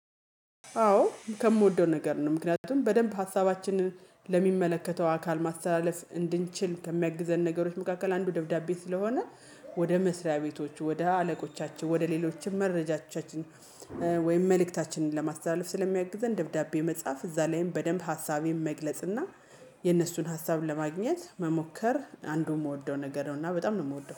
አዎ ከምወደው ነገር ነው። ምክንያቱም በደንብ ሀሳባችንን ለሚመለከተው አካል ማስተላለፍ እንድንችል ከሚያግዘን ነገሮች መካከል አንዱ ደብዳቤ ስለሆነ። ወደ መስሪያ ቤቶች፤ ወደ አለቆቻችን፤ ወደ ሌሎችም መረጃቻችን ወይም መልእክታችንን ለማስተላለፍ ስለሚያግዘን ደብዳቤ መጻፍ እዛ ላይም በደንብ ሀሳቤም መግለጽ እና የእነሱን ሀሳብን ለማግኘት መሞከር አንዱ የምወደው ነገር ነው፤ እና በጣም ነው የምወደው።